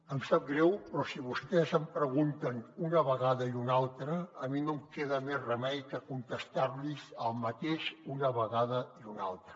em sap greu però si vostès m’ho pregunten una vegada i una altra a mi no em queda més remei que contestar los el mateix una vegada i una altra